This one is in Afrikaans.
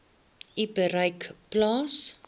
u bereik plaas